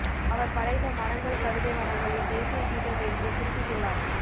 அவர் படைத்த மரங்கள் கவிதை வனங்களின் தேசிய கீதம் என்று குறிப்பிட்டுள்ளார்